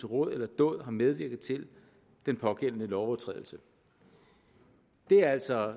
råd eller dåd har medvirket til den pågældende lovovertrædelse det er altså